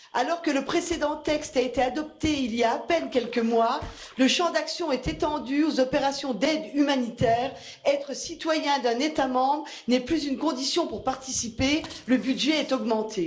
Alors que le précédent texte a été adopté il y a à peine quelques mois, son champ d'action est étendu aux opérations d'aide humanitaire, être citoyen d'un État membre n'est plus une condition pour participer, le budget est augmenté.